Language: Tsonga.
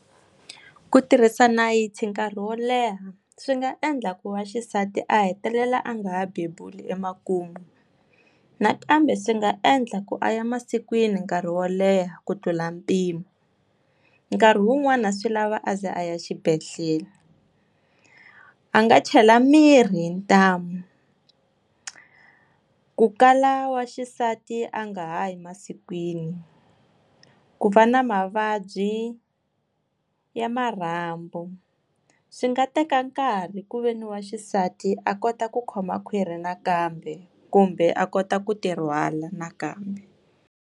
Ku tirhisa nayiti nkarhi wo leha swi nga endla ku wa xisati a hetelela a nga ha bebula emakumu, nakambe swi nga endla ku a ya masikwini nkarhi wo leha ku tlula mpimo, nkarhi wun'wani swi lava a ze a ya xibedhlele, a nga chela mirhi hi ntamu, ku kala wa xisati a nga ha yi masikwini, ku va na mavabyi ya marhambu swi nga teka nkarhi ku ve ni wa xisati a kota ku khoma khwiri nakambe kumbe a kota ku ti rhwala nakambe.